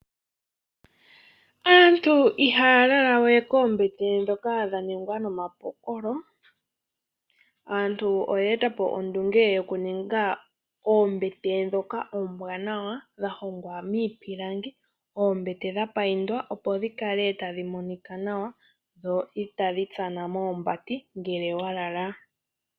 Aantu ihaya lalawe noombete ndhoka dha ningwa nomapokolo . Aantu oye etapo ondunge tokuninga oombete ndhoka oombwanawa, dhahongwa miipilangi, ohadhi mbambekwa opo dhikale tadhi monika opo itaadhi tana moombati ngele wakala.